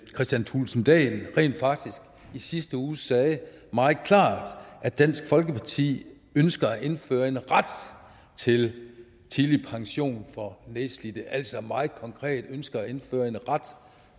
kristian thulesen dahl rent faktisk i sidste uge sagde meget klart at dansk folkeparti ønsker at indføre en ret til tidlig pension for nedslidte altså meget konkret ønsker at indføre en ret